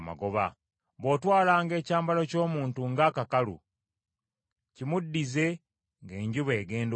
Bw’otwalanga ekyambalo ky’omuntu ng’akakalu, kimuddize ng’enjuba egenda okugwa;